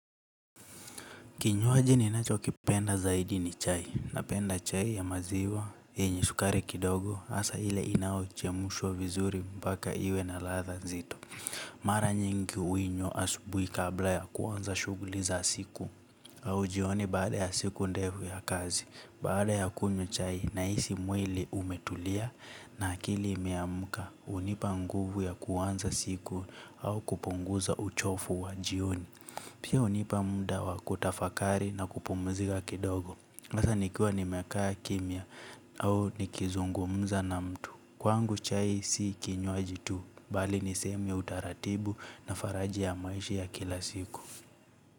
Kinyuwaji ninacho kipenda zaidi ni chai, na penda chai ya maziwa, enye sukare kidogo, asa ile inauchemushwa vizuri mbaka iwe na latha nzito. Mara nyingi uinywa asubui kabla ya kuanza shuguli za siku, au jioni baada ya siku ndefu ya kazi, baada ya kunywa chai naisi mwili umetulia na akili imeamuka, unipa nguvu ya kuanza siku au kupunguza uchofu wa jioni. Pia unipa mda wa kutafakari na kupumzika kidogo asa nikua nimekaa kimya au nikizungumza na mtu. Kwangu chai si kinywaji tu. Bali niseme utaratibu na faraji ya maishi ya kila siku.